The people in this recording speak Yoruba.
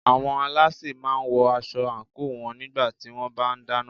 Àwọn alásè máà ń wọ aṣọ àńkò wọn nígbà tí wọ́n bá ń dáná.